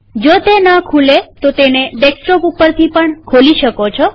જો તે ન ખુલે તો તેને ડેસ્કટોપ ઉપરથી પણ ખોલી શકો છો